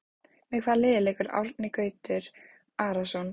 Með hvaða liði leikur Árni Gautur Arason?